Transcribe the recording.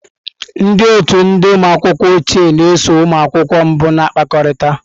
Ndị otu ndị ụmụ akwụkwọ ochie na-eso ụmụ akwụkwọ mbụ na-akpakọrịta.